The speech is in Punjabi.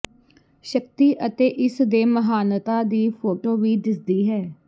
ਸ਼ਕਤੀ ਅਤੇ ਇਸ ਦੇ ਮਹਾਨਤਾ ਵੀ ਫੋਟੋ ਵਿਚ ਦਿਸਦੀ ਹੈ